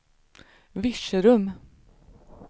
Virserum